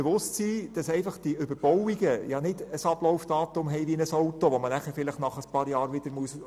Die Überbauungen haben kein Ablaufdatum wie ein Auto, das man vielleicht nach ein paar Jahren entsorgen muss.